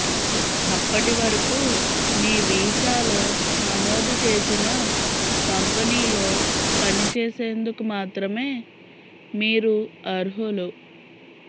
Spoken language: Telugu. అప్పటి వరకు మీ వీసాలో నమోదు చేసిన కంపెనీలో పని చేసేందుకు మాత్రమే మీరు అర్హులు